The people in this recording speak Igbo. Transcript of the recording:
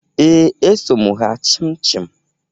Ee, eso m ha chịmchịm